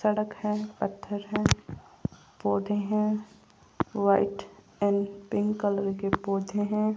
सड़क हैं पत्थर हैं पौधे हैं व्हाइट एंड पिंक कलर के पौधे हैं।